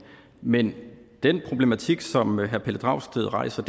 men den problematik som herre pelle dragsted rejser